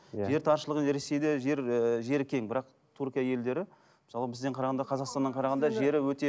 иә жер таршылығы ресейде жер ыыы жері кең бірақ түркия елдері мысалы бізден қарағанда қазақстаннан қарағанда жері өте